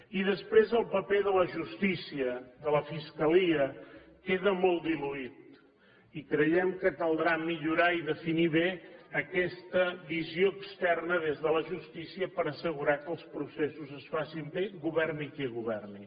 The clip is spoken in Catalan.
i després el paper de la justícia de la fiscalia queda molt diluït i creiem que caldrà millorar i definir bé aquesta visió externa des de la justícia per assegurar que els processos es facin bé governi qui governi